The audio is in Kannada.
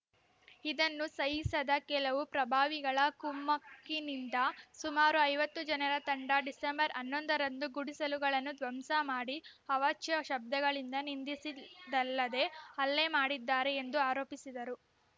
ಇದನ್ನು ಸಹಿಸದ ಕೆಲವು ಪ್ರಭಾವಿಗಳ ಕುಮಕ್ಕಿನಿಂದ ಸುಮಾರು ಐವತ್ತು ಜನರ ತಂಡ ಡಿಸೆಂಬರ್ ಹನ್ನೊಂದರಂದು ಗುಡಿಸಲುಗಳನ್ನು ಧ್ವಂಸ ಮಾಡಿ ಅವಾಚ್ಯ ಶಬ್ದಗಳಿಂದ ನಿಂಧಿಸಿದ್ದಲ್ಲದೆ ಹಲ್ಲೆ ಮಾಡಿದ್ದಾರೆ ಎಂದು ಆರೋಪಿಸಿದರು